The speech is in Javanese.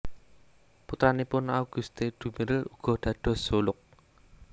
Putranipun Auguste Duméril uga dados zoolog